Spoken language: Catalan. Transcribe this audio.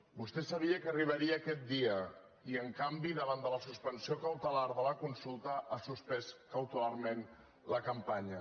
vostè sabia que arribaria aquest dia i en canvi davant de la suspensió cautelar de la consulta ha suspès cautelarment la campanya